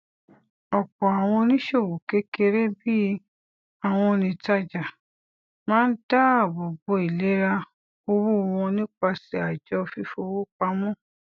ọpọ àwọn oníṣòwò kékeré bíi àwọn onítàjà máa ń dáàbò bo ìlera owó wọn nípasẹ àjọ fífowópamọ